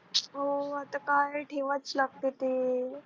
हो आता काय ठेवाच लागते ते.